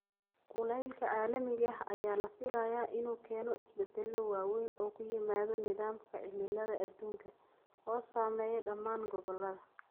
Kulaylka caalamiga ah ayaa la filayaa inuu keeno isbeddelo waaweyn oo ku yimaada nidaamka cimilada adduunka, oo saameeya dhammaan gobollada.